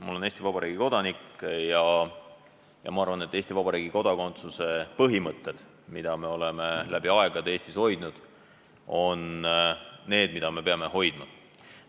Ma olen Eesti Vabariigi kodanik ja ma arvan, et Eesti Vabariigi kodakondsuse põhimõtted, mida me oleme läbi aegade Eestis hoidnud, on need, mida me peame hoidma.